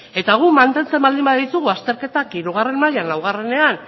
eta guk mantentzen baldin baditugu azterketan hirugarrena mailan lauenean